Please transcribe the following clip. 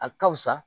A ka fusa